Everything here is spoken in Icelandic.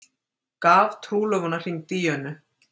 Gaf trúlofunarhring Díönu